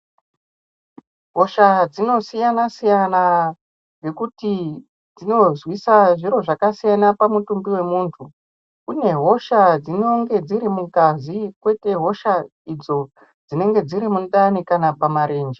Hosha dzinosiyana siyana ngekuti dzinozwisa zviro zvakasiyana pamutumbi wemuntu kune hosha dzinonge dziri mungazi kwoite hosha idzo dzinenge dziri mundani kana pamarenje.